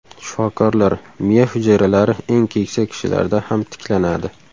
Shifokorlar: Miya hujayralari eng keksa kishilarda ham tiklanadi.